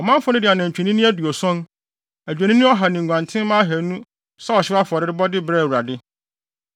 Ɔmanfo no de anantwinini aduɔson, adwennini ɔha ne nguantenmma ahannu sɛ ɔhyew afɔrebɔde brɛɛ Awurade.